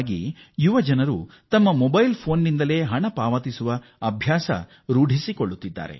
ಅದರಲ್ಲೂ ಯುವ ಪೀಳಿಗೆ ಮೊಬೈಲ್ ಹ್ಯಾಂಡ್ ಸೆಟ್ ಮೂಲಕ ಡಿಜಿಟಲ್ ಪಾವತಿಯನ್ನು ರೂಢಿಸಿಕೊಳ್ಳುತ್ತಿದ್ದಾರೆ